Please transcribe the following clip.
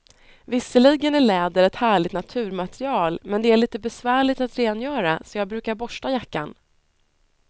Visserligen är läder ett härligt naturmaterial, men det är lite besvärligt att rengöra, så jag brukar borsta jackan.